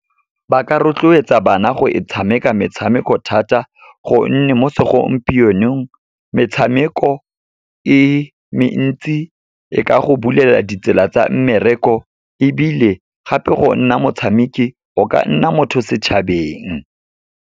Ba ka rotloetsa bana go e tshameka metshameko thata, gonne mo segompienong metshameko e mentsi e ka go bulela ditsela tsa mmereko, ebile gape go nna motshameki o ka nna motho setšhabeng.